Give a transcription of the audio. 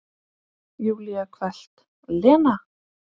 Júlía hvellt: Lena!